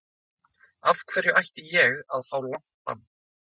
Af hverju ætti ég að fá langt bann?